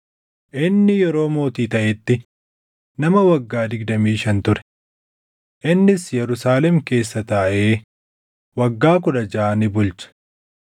Inni yeroo mootii taʼetti nama waggaa digdamii shan ture. Innis Yerusaalem keessa taaʼee waggaa kudha jaʼa ni bulche.